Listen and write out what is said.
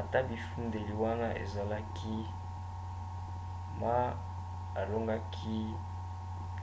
ata bifundeli wana ezalaki ma alongaki